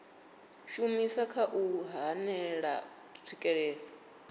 shumisa kha u hanela tswikelelo